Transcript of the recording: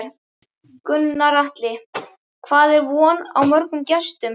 Gunnar Atli, hvað er von á mörgum gestum?